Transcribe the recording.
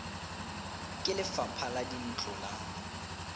ke lefapha la dintlo la